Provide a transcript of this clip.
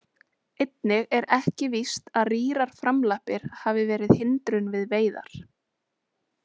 Einnig er ekki víst að rýrar framlappir hafi verið hindrun við veiðar.